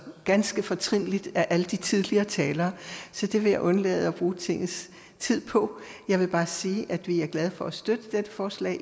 ganske fortrinligt af alle de tidligere talere så det vil jeg undlade at bruge tingets tid på jeg vil bare sige at vi er glade for at støtte dette forslag